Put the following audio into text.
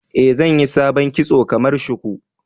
Eh, zanyi sabon kitson kamar shuku.